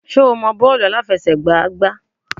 Ṣé o mọ bọ́ọ̀lù àláfẹsẹ̀gbá gbá?